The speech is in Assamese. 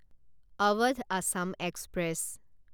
অৱধ আছাম এক্সপ্ৰেছ